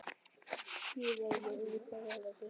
Guð veri með yður og farið gætilega.